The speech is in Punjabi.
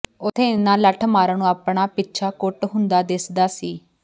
ਉੱਥੇ ਇਨ੍ਹਾਂ ਲੱਠਮਾਰਾਂ ਨੂੰ ਆਪਣਾ ਪਿੱਛਾ ਕੁੱਟ ਹੁੰਦਾ ਦਿਸਦਾ ਸੀ